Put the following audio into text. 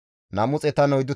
Parati 736, baquloti 245